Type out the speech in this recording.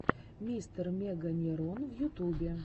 мистер меганерон в ютубе